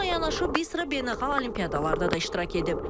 Bununla yanaşı bir sıra beynəlxalq olimpiadalarda da iştirak edib.